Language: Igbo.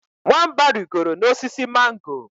Nwamba rigoro n’osisi mango